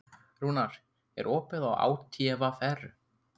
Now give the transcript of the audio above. Rúnar, er opið í ÁTVR?